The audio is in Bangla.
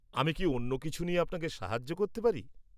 আমি কি অন্য কিছু নিয়ে আপনাকে সাহায্য করতে পারি?